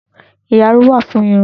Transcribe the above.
Ìyárún wà fún irun.